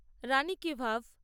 রানী ki ভাভ